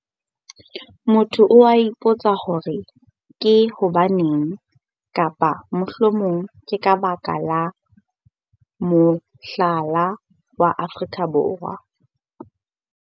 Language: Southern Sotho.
Motho o a ipotsa hore ke hobaneng, kapa mohlomong ke ka baka la mohlala wa Afrika Borwa.